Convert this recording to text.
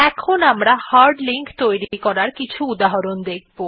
এখন আমরা hard link তৈরী করার কিছু উদাহরণ দেখব